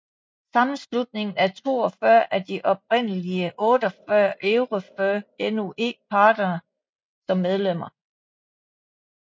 Sammenslutningen har 42 af de oprindelige 48 EuroFIR Noe partnere som medlemmer